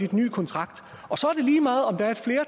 den nye kontrakt